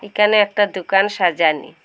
এখানে একটা দোকান সাজানি ।